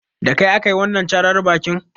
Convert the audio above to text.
Da kai aka yi wanan càrar bakin?